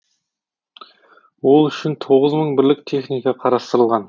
ол үшін тоғыз мың бірлік техника қарастырылған